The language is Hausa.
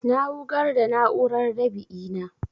Na wugar da na'urar dab'i na